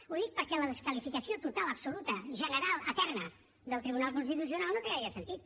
ho dic perquè la desqualificació total absoluta general eterna del tribunal constitucional no té gaire sentit